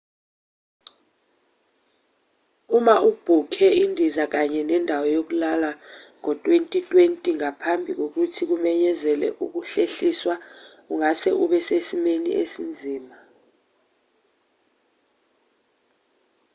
uma ubhukhe indiza kanye nendawo yokulala ngo-2020 ngaphambi kokuthi kumenyezelwe ukuhlehliswa ungase ube sesimweni esinzima